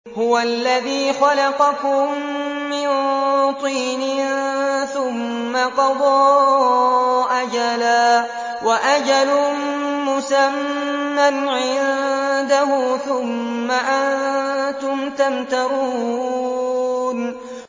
هُوَ الَّذِي خَلَقَكُم مِّن طِينٍ ثُمَّ قَضَىٰ أَجَلًا ۖ وَأَجَلٌ مُّسَمًّى عِندَهُ ۖ ثُمَّ أَنتُمْ تَمْتَرُونَ